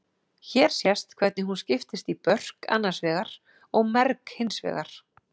Hér sést hvernig hún skiptist í börk annars vegar og merg hins vegar.